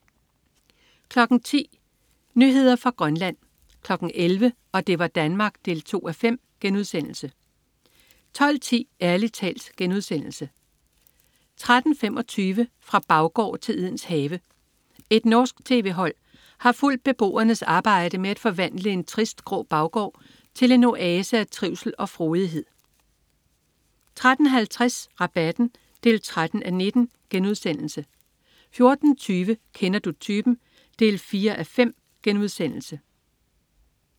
10.00 Nyheder fra Grønland 11.00 Og det var Danmark 2:5* 12.10 Ærlig talt* 13.25 Fra baggård til Edens Have. Et norsk tv-hold har fulgt beboernes arbejde med at forvandle en trist, grå baggård til en oase af trivsel og frodighed 13.50 Rabatten 13:19* 14.20 Kender du typen? 4:5*